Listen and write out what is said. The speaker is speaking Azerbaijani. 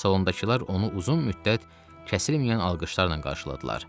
Salondakılar onu uzun müddət kəsilməyən alqışlarla qarşıladılar.